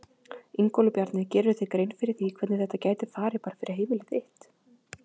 Ingólfur Bjarni: Gerirðu þér grein fyrir því hvernig þetta gæti farið bara fyrir heimili þitt?